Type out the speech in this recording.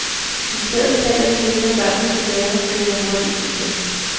I stedet taler de lidt med børnene på gaden og kører hurtigt igen.